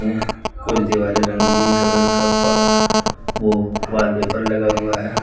कुछ दिवाले रंगीन कलर का प ओ वॉलपेपर लगा हुआ है।